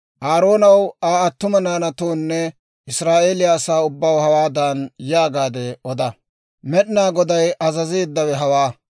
«Aaroonaw Aa attuma naanatoonne Israa'eeliyaa asaa ubbaw hawaadan yaagaade oda; ‹Med'inaa Goday azazeeddawe hawaa: